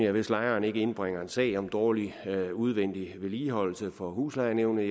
at hvis lejeren ikke indbringer en sag om dårlig udvendig vedligeholdelse for huslejenævnet